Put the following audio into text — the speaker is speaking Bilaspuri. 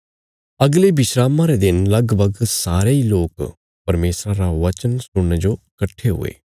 अगले विस्रामा रे दिन लगभग सारे इ लोक परमेशरा रा वचन सुणने जो कट्ठे हुये